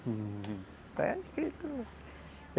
Uhum, está escrito.